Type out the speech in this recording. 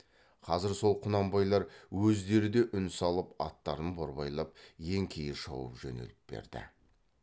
қазір сол құнанбайлар өздері де үн салып аттарын борбайлап еңкейе шауып жөнеліп берді